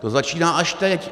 To začíná až teď.